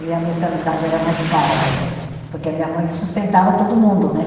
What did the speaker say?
E a mensalidade era mais cara também, porque a minha mãe sustentava todo mundo, né?